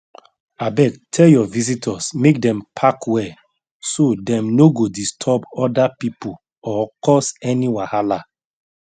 abeg tell your visitors make dem park well so dem no go disturb other people or cause any wahala